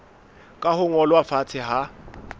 ka ho ngolwa fatshe ha